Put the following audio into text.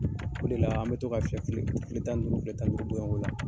O de la an bɛ to ka fɛn file tan ni duuru file tan niduuru don ola